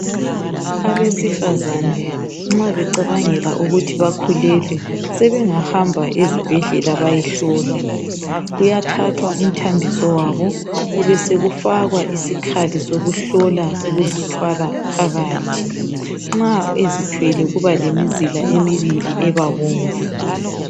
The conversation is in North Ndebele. Abesifazane nxa becabangela ukuthi bakhulelwe sebengahamba ezibhedlela bayehlolwa kuyathathwa umthambiso wabo kube sokufakwa isikhali sokuhlola ukuzithwala phakathi nxa ezithwele kuba lemizila emibili ebabomvu.